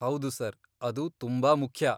ಹೌದು ಸರ್. ಅದು ತುಂಬಾ ಮುಖ್ಯ.